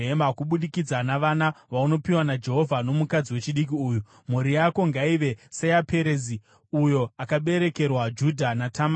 Kubudikidza navana vaunopiwa naJehovha nomukadzi wechidiki uyu, mhuri yako ngaive seyaPerezi, uyo akaberekerwa Judha naTamari.”